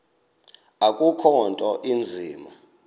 akukho nto inzima